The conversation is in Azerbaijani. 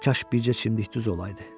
Kaş bircə çimdik düz olaydı.